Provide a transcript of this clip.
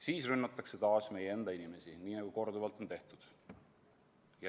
Siis rünnatakse taas meie enda inimesi, nii nagu korduvalt on tehtud.